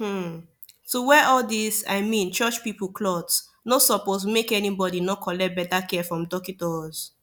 hmn to wear all these i mean church pipu cloth nor suppos make any bodi nor collect beta care from dockitos